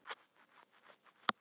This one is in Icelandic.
Síðan tók hann föggur sínar saman.